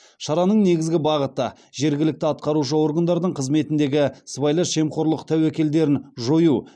шараның негізгі бағыты жергілікті атқарушы органдардың қызметіндегі сыбайлас жемқорлық тәуекелдерін жою